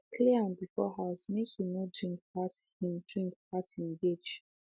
i clear am before house say make he no drink pass him drink pass him gauge